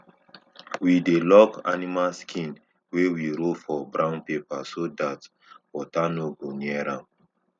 we dey lock animal skin wey we roll for brown paper so dat water no go near am